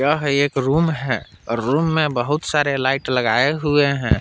यह एक रूम है रूम में बहुत सारे लाइट लगाए हुए हैं।